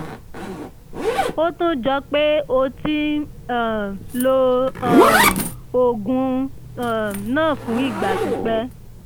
ó tún jọ pé o ti ń um lo um oògùn um náà fún ìgbà pípẹ́